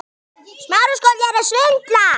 Já, og vel á minnst.